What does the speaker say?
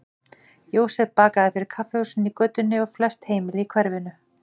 Jósef bakaði fyrir kaffihúsin í götunni og flest heimili í hverfinu.